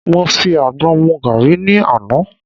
Mo fi àgbọn mu gàrí ni àná.